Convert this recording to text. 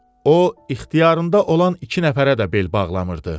O, ixtiyarında olan iki nəfərə də bel bağlamırdı.